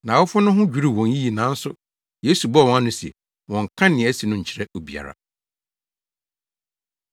Nʼawofo no ho dwiriw wɔn yiye nanso Yesu bɔɔ wɔn ano se, wɔnnka nea asi no nkyerɛ obiara.